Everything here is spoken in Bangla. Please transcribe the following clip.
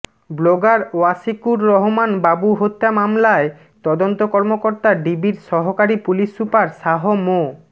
ব্লগার ওয়াশিকুর রহমান বাবু হত্যা মামলায় তদন্ত কর্মকর্তা ডিবির সহকারী পুলিশ সুপার শাহ মো